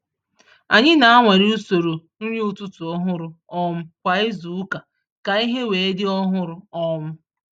Anyị na-anwale usoro nri ụtụtụ ọhụrụ um kwa izu ụka ka ihe wee dị ọhụrụ. um